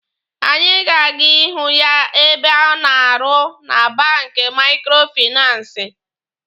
Anyị ga-aga ihụ ya ebe ọ na-arụ na banki maikrofinansi.